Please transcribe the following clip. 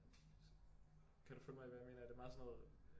Kan du følge mig i hvad jeg mener er det meget sådan noget